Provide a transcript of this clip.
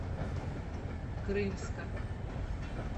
крымска